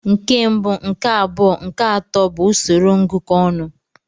Nke mbụ, nke abụọ nke atọ bụ usoro ngụkọ ọnụ.